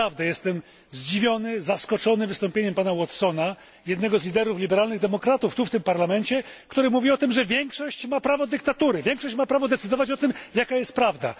Jestem naprawdę zdziwiony, wręcz zaskoczony wystąpieniem pana Watsona, jednego z liderów liberalnych demokratów w tym Parlamencie, który mówi o tym, że większość ma prawo dyktatury, większość ma prawo decydować o tym, jaka jest prawda.